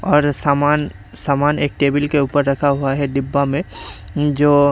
और सामान सामान एक टेबल के ऊपर रखा हुआ है डिब्बा में जो--